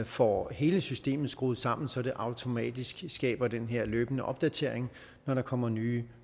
får hele systemet skruet sammen så det automatisk skaber den her løbende opdatering når der kommer nye